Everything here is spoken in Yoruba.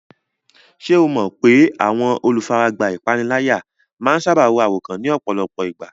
Ṣé o mọ̀ pé àwọn olùfaragbá ìpániláyà máa ń sáábà ro àròkán ní ọ̀pọ̀lọpọ̀ ìgbà?